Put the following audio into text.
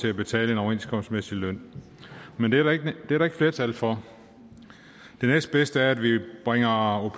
til at betale en overenskomstmæssig løn men det er der ikke flertal for det næstbedste er at vi bringer au